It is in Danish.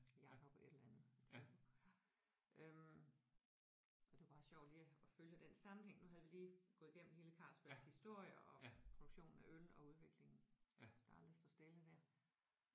Jacob et eller andet ja øh og det var bare sjovt lige at følge den sammenhæng nu havde vi lige gået igennem hele Carlsbergs historie og produktionen af øl og udviklingen der aldrig står stille der